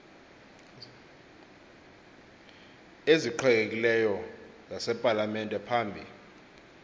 eziqhelekileyo zasepalamente phambi